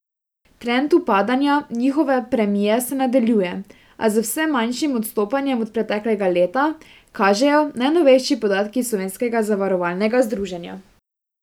Trend upadanja njihove premije se nadaljuje, a z vse manjšim odstopanjem od preteklega leta, kažejo najnovejši podatki Slovenskega zavarovalnega združenja.